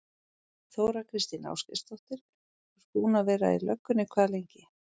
Þóra Kristín Ásgeirsdóttir: Þú ert búinn að vera í löggunni hvað lengi?